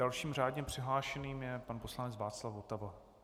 Dalším řádně přihlášeným je pan poslanec Václav Votava.